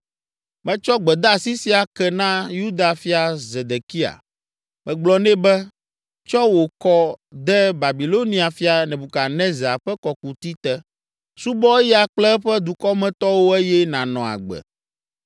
Metsɔ gbedeasi sia ke na Yuda fia Zedekia. Megblɔ nɛ be, “Tsɔ wò kɔ de Babilonia fia, Nebukadnezar, ƒe kɔkuti te; subɔ eya kple eƒe dukɔmetɔwo eye nànɔ agbe.